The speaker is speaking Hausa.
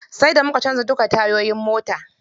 Sai da muka canza duka tayoyin motar.